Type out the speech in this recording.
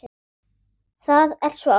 Það er svo ágætt.